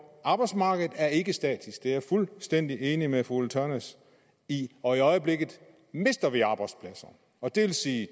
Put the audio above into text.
arbejdsmarkedet er ikke statisk det er jeg fuldstændig enig med fru ulla tørnæs i og i øjeblikket mister vi arbejdspladser og det vil sige